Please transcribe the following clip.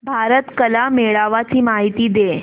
भारत कला मेळावा ची माहिती दे